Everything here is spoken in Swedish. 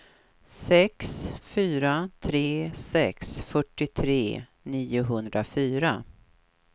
sex fyra tre sex fyrtiotre niohundrafyra